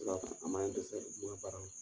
An ma ne dɛsɛ n ka baaraw la.